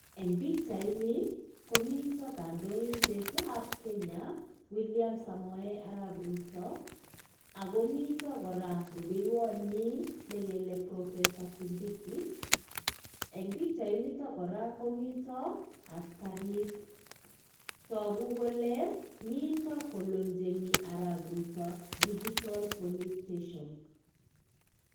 eng bichaini komita kandoindet ab kenya Willam samoei arap ruto, ako mita koraa rubeiwanyii profesor kindiki ,eng bichani koraa komita askarik tagu kolee mitaa ko loncheni arap ruto digital police station